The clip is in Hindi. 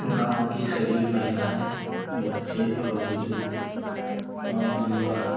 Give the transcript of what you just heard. गांव की सभी महिलाएं बच्चे और बुजुर्ग और युवा --